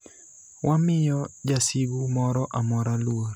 Wamiyo jasigu moro amora luor,